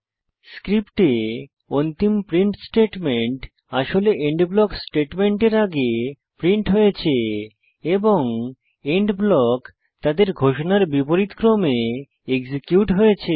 স্ক্রিপ্টে অন্তিম print statement আসলে end block স্টেটমেন্টের আগে প্রিন্ট হয়েছে এবং এন্ড ব্লক তাদের ঘোষণার বিপরীত ক্রমে এক্সিকিউট হয়েছে